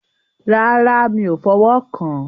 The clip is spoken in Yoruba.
Rárá, mi o fọ̀wọ́ kán.